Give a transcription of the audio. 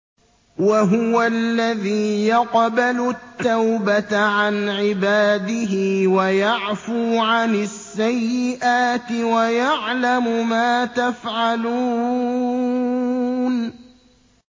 وَهُوَ الَّذِي يَقْبَلُ التَّوْبَةَ عَنْ عِبَادِهِ وَيَعْفُو عَنِ السَّيِّئَاتِ وَيَعْلَمُ مَا تَفْعَلُونَ